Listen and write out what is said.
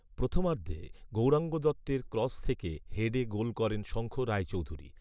প্রথমার্ধে গৌরাঙ্গ দত্তের ক্রস থেকে হেডে গোল করেন শঙ্খ রায়চৌধুরি